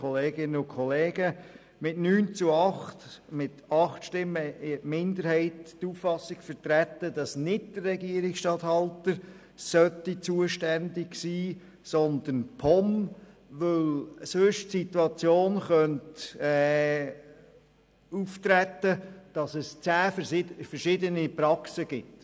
Mit 8 Stimmen hat die Kommissionsminderheit die Auffassung vertreten, dass nicht der Regierungsstatthalter zuständig sein sollte, sondern die POM, weil sich sonst die Situation ergeben könnte, dass es im Kanton zehn verschiedene Praxen gibt.